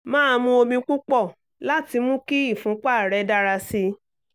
máa mu omi púpọ̀ láti mú kí ìfúnpá rẹ dára sí i